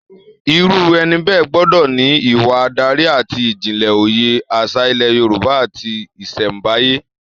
Irú ẹni bẹ́ẹ̀ gbọ́dọ̀ ní ìwà adarí àti ìjìnlẹ̀ òye àṣà ilẹ̀ Yorùbá àti ìṣẹ̀nbáyé